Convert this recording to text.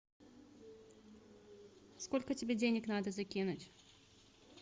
сколько тебе денег надо закинуть